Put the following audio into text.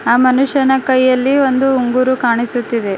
ಆ ಮನುಷ್ಯನ ಕೈಯಲ್ಲಿ ಒಂದು ಉಂಗುರು ಕಾಣಿಸುತ್ತಿದೆ.